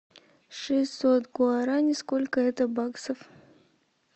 шестьсот гуарани сколько это баксов